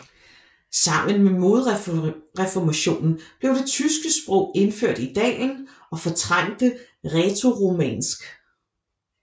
Sammen med modreformationen blev det tyske sprog indført i dalen og fortrængte rætoromansk